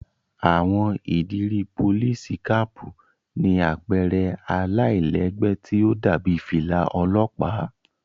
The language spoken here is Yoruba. Àwọn ìdiri Polìsí-kàpu ni àpẹrẹ àlailẹgbẹ ti o dàbi filà ọlọpa.